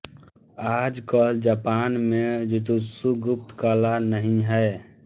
आज कल जापान में जूजुत्सु गुप्त कला नहीं है